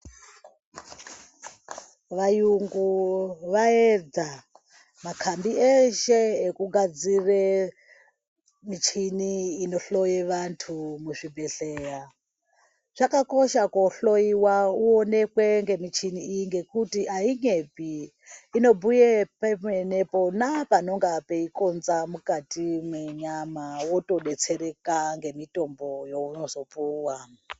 Vayungu vaedza makhambi eshe ekugadzire michini inohloye vantu muzvibhedhleya. Chakakosha koohloyiwa uonekwe ngemichini iyi, ngekuti ayinyepi. Inobhuye pemene pona panonga peikonza mukati mwenyama, wotodetsereka ngemitombo yeunozopuwa.